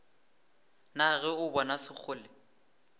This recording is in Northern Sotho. na ge o bona sekgole